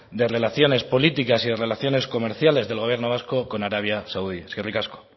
de relaciones políticas y relaciones comerciales del gobierno vasco con arabia saudí eskerrik asko